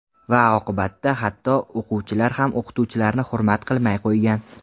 Va oqibatda hatto o‘quvchilar ham o‘qituvchilarni hurmat qilmay qo‘ygan.